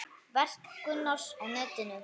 Verk Gunnars á netinu